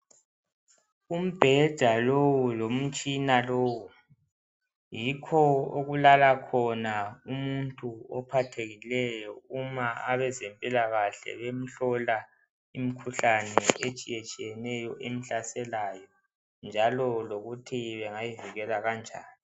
Umbheda lowu lomtshina lowu yikho okulala khona umuntu ophathekileyo uma abezempilakahle bemhlola imikhuhlane etshiya tshiyeneyo emhlaselayo njalo lokuthi bangayivikela kanjani.